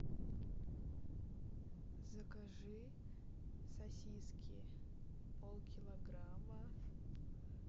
закажи сосиски полкилограмма